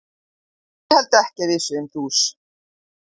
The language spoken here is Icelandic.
Ég held ekki að við séum dús.